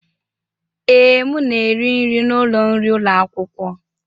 Ee, m na-eri nri n'ụlọ nri ụlọ akwụkwọ.